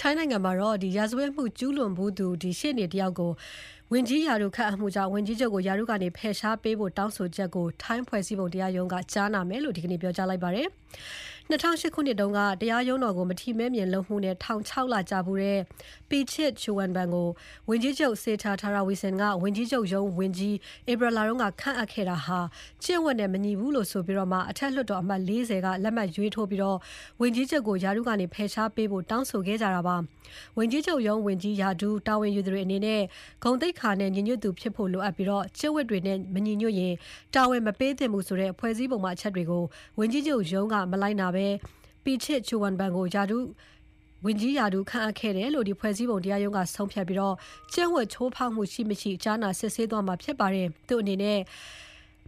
ထိုင်းနိုင်ငံမှာ ရာဇဝတ်မှုကျူးလွန်ဖူးသူ ရှေ့နေကို ဝန်ကြီးချုပ်ရုံး ဝန်ကြီးရာထူးခန့်အပ်မှုကြောင့် ဝန်ကြီးချုပ်ကို ရာထူးကနေ ဖယ်ရှားပေးဖို့ တောင်းဆိုချက်ကို ထိုင်းဖွဲ့စည်းပုံတရားရုံးက ကြားနာဖို့လက်ခံလိုက်ပါတယ်။ ၂၀၀၈ ခုနှစ်က တရားရုံးတော်ကို မထီမဲ့မြင်လုပ်မှုနဲ့ ထောင် ၆ လကျဖူးတဲ့ Pichit Chuenban ကို ဝန်ကြီးချုပ် Srettha Thavisin က ဝန်ကြီးချုပ်ရုံး ဝန်ကြီး ဧပြီလက ခန့်အပ်ခဲ့တာဟာ ကျင့်ဝတ်နဲ့ မညီဘူးလို့ဆိုပြီး အထက်လွှတ်တော်အမတ် ၄၀ က လက်မှတ်ရေးထိုးပြီး ဝန်ကြီးချုပ်ကို ရာထူးကနေ ဖယ်ရှားပေးဖို့ တောင်းဆိုခဲ့ကြတာပါ။ ဝန်ကြီးချုပ်ရုံးဝန်ကြီး ရာထူး တာဝန်ယူသူတွေအနေနဲ့ ဂုဏ်သိက္ခာနဲ့ ညီညွတ်သူဖြစ်ဖို့ လိုအပ်ပြီး ကျင့်ဝတ်တွေနဲ့မညီညွတ်ရင် တာဝန်မပေးသင့်ဘူးဆိုတဲ့ ဖွဲ့စည်းပုံပါအချက်တွေကို ဝန်ကြီးချုပ်ရုံးက မလိုက်နာဘဲ Pichit Chuenban ကို ဝန်ကြီးရာထူး ခန့်အပ်ခဲ့တယ်လို့ ဖွဲ့စည်းပုံတရားရုံးက ဆုံးဖြတ်ပြီး ကျင့်ဝတ်ချိုးဖောက်မှု ရှိ မရှိ ကြားနာ စစ်ဆေးသွားမှာဖြစ်ပါတယ်။ သူ့အနေနဲ့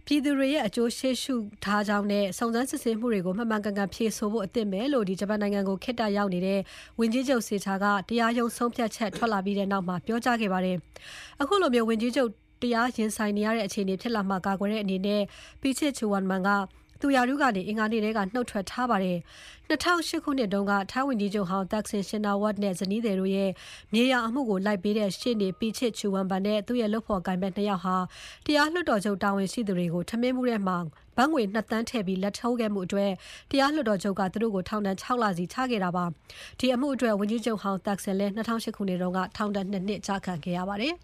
ထိုင်းပြည်သူတွေရဲ့ အကျိုးစီးပွားကို ရှေ့ရှုထားကြောင်းနဲ့ စုံစမ်းစစ်ဆေးမှုတွေကို မှန်ကန်ကန် ဖြေဆိုဖို့ အသင့်ပဲလို့ ဂျပန်နိုင်ငံကို ခေတ္တရောက်နေတဲ့ ဝန်ကြီးချုပ် Srettha ကတရားရုံး ဆုံးဖြတ်ချက်ထွက်လာပြီးနောက်မှာ ပြောကြားခဲ့ပါတယ်။ အခုလို ဝန်ကြီးချုပ် တရားရင်ဆိုင်ရတဲ့ အခြေအနေဖြစ်လာမှာကာကွယ်တဲ့အနေနဲ့ Pichit Chuenban က သူ့ရာထူးကနေ အင်္ဂါနေ့ကတည်းက နှုတ်ထွက်ထားပါတယ်။ ၂၀၀၈ ခုနှစ်တုန်းက ထိုင်းဝန်ကြီးချုပ်ဟောင်း Thaksin Shinawatra နဲ့သူ့ဇနီးတို့ရဲ့ မြေယာအမှုကို လိုက်ပေးတဲ့ ရှေ့နေ Pichit Chuenban နဲ့ သူ့ရဲ့လုပ်ဖော်ကိုင်ဖက် ၂ ယောက်ဟာ တရားလွှတ်တော်ချုပ်တာဝန်ရှိသူတွေကို ထမင်းဘူးထဲ ဘတ်ငွေ ၂ သန်းထည့်ပြီး လာဒ်ထိုးခဲ့မှုအတွက် တရားလွှတ်တော်ချုပ်က သူတို့ကို ထောင်ဒဏ် ၆ လစီ ချခဲ့တာဖြစ်ပါတယ်။ အဲဒီအမှုအတွက် ဝန်ကြီးချုပ်ဟောင်း Thaksin ၂၀၀၈ ခုနှစ်က ထောင်ဒဏ် ၂ နှစ်ချခံခဲ့ရပါတယ်